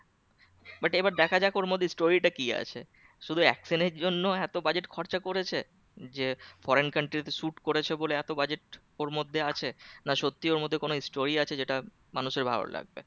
But এবার দেখাযাক ওর মধ্যে story টা কি আছে? শুধু action এর জন্য এত budget খরচা করেছে যে foreign country তে shoot করেছে বলে এত budget ওর মধ্যে আছে না সত্যি ওর মধ্যে কোন story আছে যেটা মানুষের ভালো লাগবে